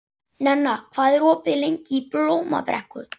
Nenna, hvað er opið lengi í Blómabrekku?